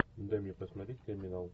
дай мне посмотреть криминал